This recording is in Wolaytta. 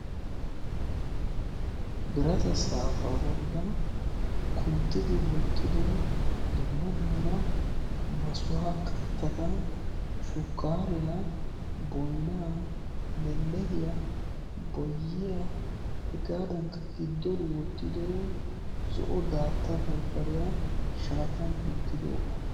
Biirata saafa bollan kunttidi wottido dumma dumma maasuwa kattata shukariya boynaa lelehiya boyiya hegadankka gidon wottido zo'o datta barbariya shatiyan kunttidoga.